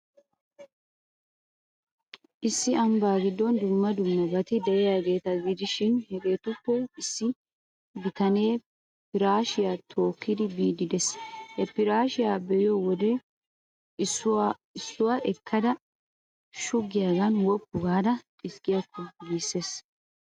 Issi ambbaa giddon dumma dummabati de'iyaageeta gidishin, hegeetuppe issi bitanee firaashshiyaa tookkidi biiddi de'ees. He firaashshiyaa be'iyo wodee issuwaa ekkada shuggiyaagan woppu gaada xiskkiyakko giissees.